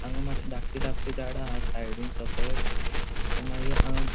हांगा मात्शी धाकटी धाकटी झाडा हा साइडीन सकयल आणि मगिर हांगा --